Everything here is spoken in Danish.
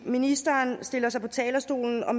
ministeren stiller sig op på talerstolen og